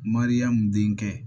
Mariyamu denkɛ